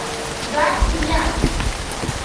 гадкий я